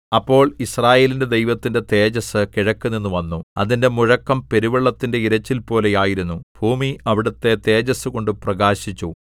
അപ്പോൾ യിസ്രായേലിന്റെ ദൈവത്തിന്റെ തേജസ്സ് കിഴക്കുനിന്ന് വന്നു അതിന്റെ മുഴക്കം പെരുവെള്ളത്തിന്റെ ഇരച്ചിൽപോലെ ആയിരുന്നു ഭൂമി അവിടുത്തെ തേജസ്സുകൊണ്ട് പ്രകാശിച്ചു